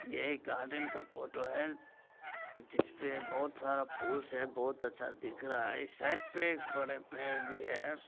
ये एक गार्डन का फोटो है जिसपे बोहोत सारा फूल से बोहोत अच्छा दिख रहा है इस साइड बड़े पेड़ भी है।